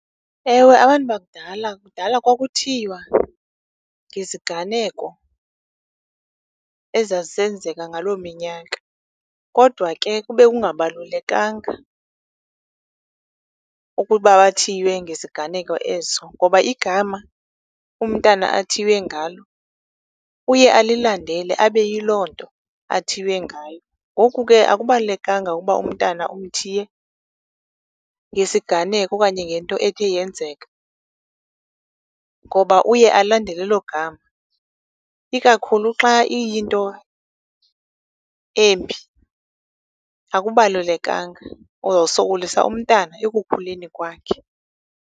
Ewe abantu bakudala, kudala kwakuthiywa ngeziganeko ezazisenzeka ngaloo minyaka, kodwa ke kube kungabalulekanga ukuba bathiywe ngesiganeko eso. Ngoba igama umntana athiywe ngalo uye alilandele, abe yiloo nto athiywe ngayo. Ngoku ke akubalulekanga uba umntana umthiye ngesiganeko okanye ngento ethe yenzeka, ngoba uye alandele elo gama. Ikakhulu xa iyinto embi, akubalulekanga. Uzosokolisa umntana ekukhuleni kwakhe.